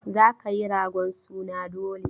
Za ka yi ragon suna dole!